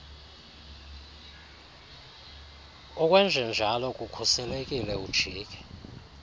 ukwenjenjalo kukhuselekile ujike